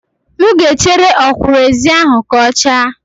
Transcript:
M ga-echere ọkwụrụ-ezi ahụ ka ọ chaa